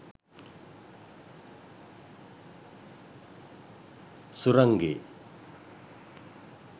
surange